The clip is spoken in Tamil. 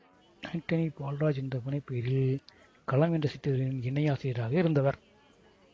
அன்டனி பால்ராஜ் என்ற புனைபெயரில் களம் என்ற சிற்றிதழின் இணை ஆசிரியராக இருந்தவர்